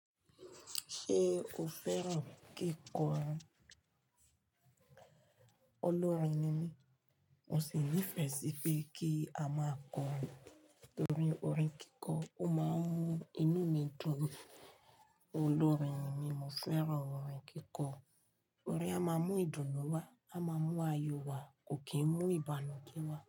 Ṣé o fẹ́ràn kíkọrin? Olórin ni mí, mo sì nífẹ̀ẹ́ sí pé kí a máa kọrin nítorí orin kíkọ, ó máa ń mú inú mi dùn. Olórin ni mí, mo fẹ́ràn orin kíkọ. Orin a máa mú ìdùnnú wá, a máa mú ayọ̀ wá, kò kì í mú ìbànújẹ́ wá.